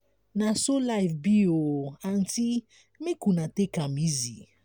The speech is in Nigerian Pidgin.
na so life be o aunty make una take am easy.